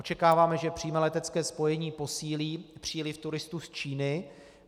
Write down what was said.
Očekáváme, že přímé letecké spojení posílí příliv turistů z Číny.